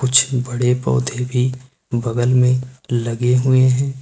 कुछ बड़े पौधे भी बगल में लगे हुए हैं।